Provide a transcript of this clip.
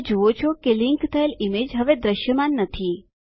તમે જુઓ છો કે લીંક થયેલ ઈમેજ હવે દ્રશ્યમાન નથી